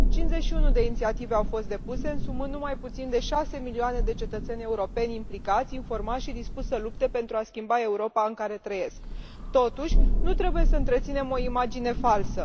51 de inițiative au fost depuse, însumând nu mai puțin de șase milioane de cetățeni europeni implicați, informați și dispuși să lupte pentru a schimba Europa în care trăiesc. Totuși, nu trebuie să întreținem o imagine falsă.